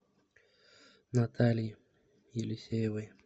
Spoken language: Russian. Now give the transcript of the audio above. натальи елисеевой